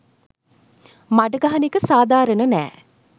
මඩ ගහන එක සධාරණ නෑ.